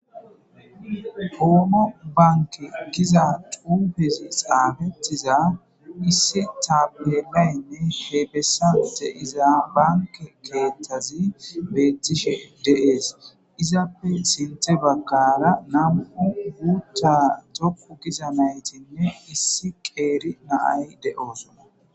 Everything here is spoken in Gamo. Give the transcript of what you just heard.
Omo banike giza xuffeti xafetiza iss tappelayi deyesi banike kethazi betishe deyesi izape sintha baggara namu'u mitha nayiti isi qeri na'ayi deyosona